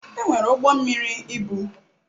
Enwere ụgbọ mmiri ibu.